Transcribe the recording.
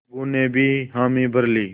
अलगू ने भी हामी भर ली